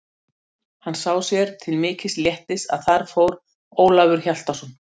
Hann sá sér til mikils léttis að þar fór Ólafur Hjaltason.